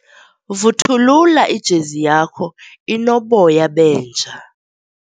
Vuthulula ijezi yakho inoboya benja.